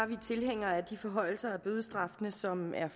vi tilhængere af de forhøjelser af bødestraffene som er